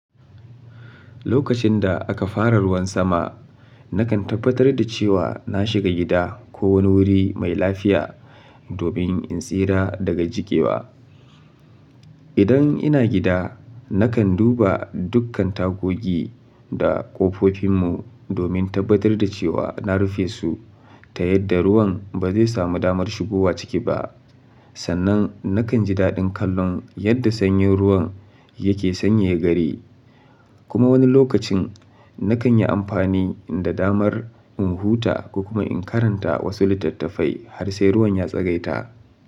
Lokacin da aka fara ruwan sama, nakan tabbatar da cewa na shiga gida ko wani wuri mai lafiya domin in tsira daga jiƙewa. Idan ina gida, nakan duba dukkan tagogi da ƙofofin mu domin tabbatar da cewa na rufe su ta yadda ruwan ba zai samu damar shigowa ciki ba. Sannan nakan ji daɗin kallon yadda sanyin ruwan yake sanyaya gari, kuma wani lokacin nakan yi amfani da damar in huta ko kuma in karanta wasu littattafai har sai ruwan ya tsagaita.